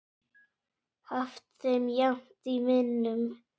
haft þeim jafnt í minnum.